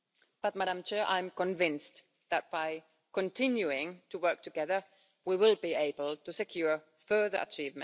But I am convinced that, by continuing to work together, we will be able to secure further achievements in Europe and globally.